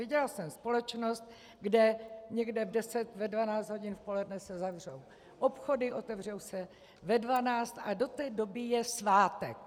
Viděla jsem společnost, kde někde v 10, ve 12 hodin v poledne se zavřou obchody, otevřou se ve 12 a do té doby je svátek.